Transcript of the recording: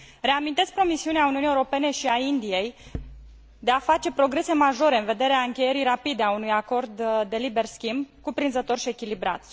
Reamintesc promisiunea Uniunii Europene și a Indiei de a face progrese majore în vederea încheierii rapide a unui acord de liber schimb, cuprinzător și echilibrat.